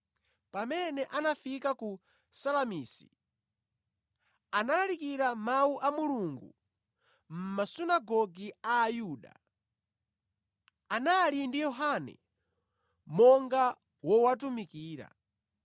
Pamene anafika ku Salamisi, analalikira Mawu a Mulungu mʼMasunagoge a Ayuda. Iwo anali ndi Yohane monga wowatumikira.